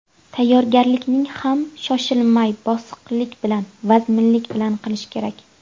Tayyorgarlikni ham shoshilmay, bosiqlik bilan, vazminlik bilan qilish kerak.